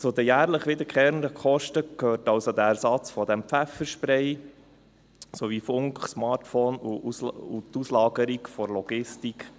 Zu den jährlich wiederkehrenden Kosten gehört also der Ersatz des Pfeffersprays sowie Funk, Smartphone und die Auslagerung der Logistik.